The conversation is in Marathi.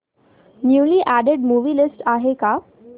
न्यूली अॅडेड मूवी लिस्ट आहे का